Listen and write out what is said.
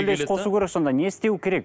үлес қосу керек сонда не істеу керек